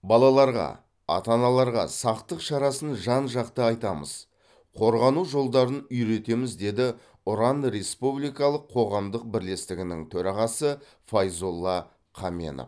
балаларға ата аналарға сақтық шарасын жан жақты айтамыз қорғану жолдарын үйретеміз деді ұран республикалық қоғамдық бірлестігінің төрағасы файзолла қаменов